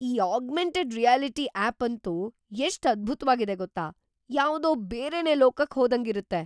ಈ augmented reality app ಅಂತೂ ಎಷ್ಟ್ ಅದ್ಭುತ್ವಾಗಿದೆ‌ ಗೊತ್ತಾ? ಯಾವ್ದೋ ಬೇರೆನೇ ಲೋಕಕ್ ಹೋದಂಗಿರುತ್ತೆ.